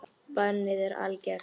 Bannið er algert.